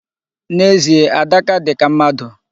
N'ezie, Adaka dị ka mmadụ.